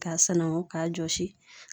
Ka sananko k'a jɔsi.